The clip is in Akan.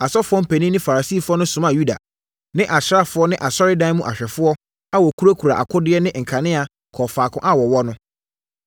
Asɔfoɔ mpanin ne Farisifoɔ no somaa Yuda ne asraafoɔ ne asɔredan mu awɛmfoɔ a wɔkurakura akodeɛ ne nkanea kɔɔ faako a wɔwɔ no.